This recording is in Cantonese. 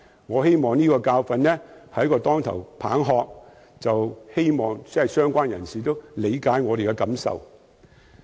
我希望這個教訓是一記當頭棒喝，也希望相關人士理解我們的感受。